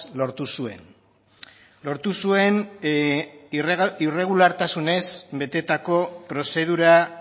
lortu zuen lortu zuen irregulartasunez betetako prozedura